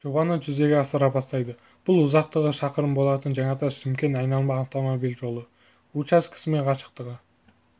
жобаны жүзеге асыра бастайды бұл ұзақтығы шақырым болатын жаңатас-шымкент айналма автомобиль жолы учаскесі мен қашықтығы